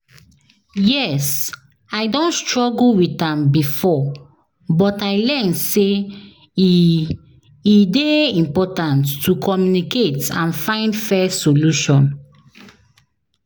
yes, i don struggle with am before, but i learn say e e dey important to communicate and find fair solution.